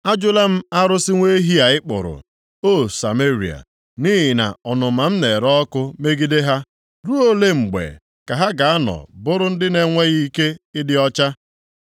Ajụla m arụsị nwa ehi a ị kpụrụ, O Sameria. Nʼihi na ọnụma m na-ere ọkụ megide ha. Ruo olee mgbe ka ha ga-anọ bụrụ ndị na-enweghị ike ịdị ọcha?